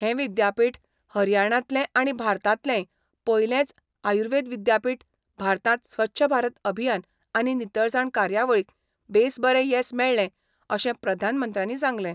हें विद्यापीठ हरयाणांतले आनी भारतांतलेंय पयलेंच आयुर्वेद विद्यापीठ भारतांत स्वच्छ भारत अभियान आनी नितळसाण कार्यावळीक बेस बरे येस मेळ्ळें अशें प्रधानमंत्र्यांनी सांगलें.